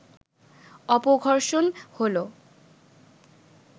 অপঘর্ষণ হল